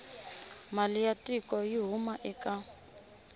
mali ya tiko yi huma eka